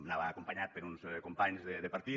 anava acompanyat per uns companys de partit